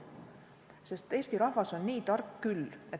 Eesti rahvas on nii tark küll.